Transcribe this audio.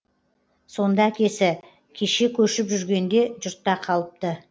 сонда әкесі кеше көшіп жүргенде жұртта қалыпты